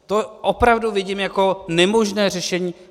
To opravdu vidím jako nemožné řešení.